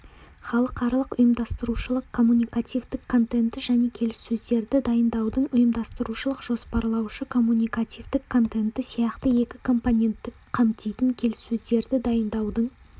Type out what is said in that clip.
халықаралық ұйымдастырушылық коммуникативтік контенті және келіссөздерді дайындаудың ұйымдастырушылық-жоспарлаушы коммуникативтік контенті сияқты екі компонентті қамтитын келіссөздерді дайындаудың